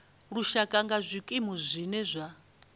lushaka nga zwikimu zwine zwa